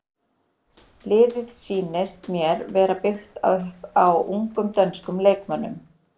Liðið sýnist mér vera byggt upp á ungum dönskum leikmönnum.